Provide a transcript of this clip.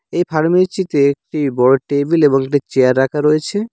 এই ফার্মেচিতে -তে একটি বড় টেবিল এবং একটি চেয়ার রাখা রয়েছে।